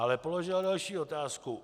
Ale položila další otázku.